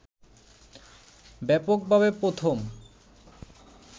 ব্যাপকভাবে প্রথম